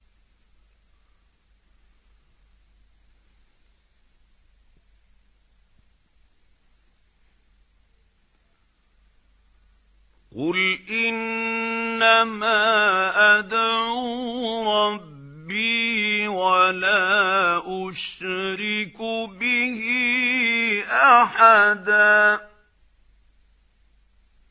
قُلْ إِنَّمَا أَدْعُو رَبِّي وَلَا أُشْرِكُ بِهِ أَحَدًا